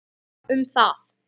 Allir sammála um það.